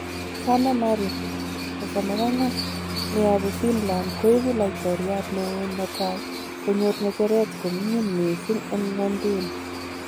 Sanna Marin ,34, neyobu Finland koigu laitoriat newon netai konyor ng'echeret koming'in missing en ng'wonduni.